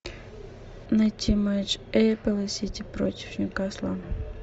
найти матч апл сити против ньюкасла